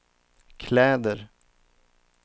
kläder